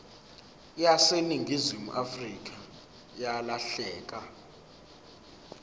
yaseningizimu afrika yalahleka